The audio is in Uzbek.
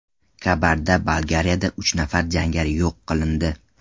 Kabarda-Balkariyada uch nafar jangari yo‘q qilindi.